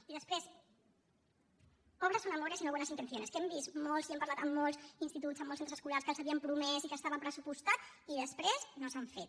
i després obras son amores y no buenas intenciones que hem vist i hem parlat amb molts instituts amb molts centres escolars que els ho havien promès i que estava pressupostat i després no s’ha fet